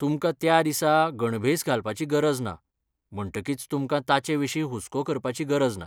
तुमकां त्या दिसा गणभेस घालपाची गरज ना, म्हणटकीच तुमकां तांचेविशीं हुस्को करपाची गरज ना.